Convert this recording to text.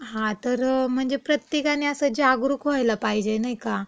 हा. तर म्हणजे प्रत्येकाने असं जागरूक व्हायला पाहिजे, नाई का? की आपल्याला.